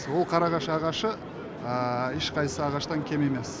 ол қарағаш ағашы ешқайсы ағашынан кем емес